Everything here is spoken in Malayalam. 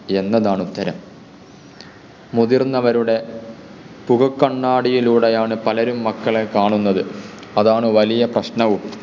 എന്നതാണ് ഉത്തരം. മുതിർന്നവരുടെ പുക കണ്ണാടിയിലൂടെയാണ് പലരും മക്കളെ കാണുന്നത്. അതാണ് വലിയ പ്രശ്നവും.